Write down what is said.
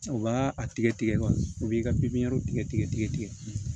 U b'a a tigɛ tigɛ u b'i ka pipiniyɛri tigɛ